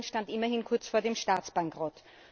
Irland stand immerhin kurz vor dem Staatsbankrott.